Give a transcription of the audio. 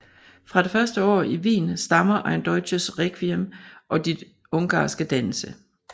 Fra de første år i Wien stammer Ein deutsches Requiem og de ungarske danse